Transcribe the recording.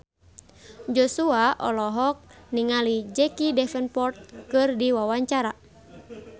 Joshua olohok ningali Jack Davenport keur diwawancara